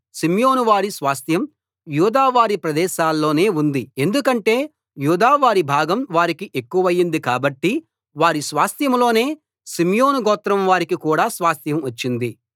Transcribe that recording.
షిమ్యోను వారి స్వాస్థ్యం యూదా వారి ప్రదేశంలోనే ఉంది ఎందుకంటే యూదా వారి భాగం వారికి ఎక్కువయింది కాబట్టి వారి స్వాస్థ్యంలోనే షిమ్యోను గోత్రం వారికి కూడా స్వాస్థ్యం వచ్చింది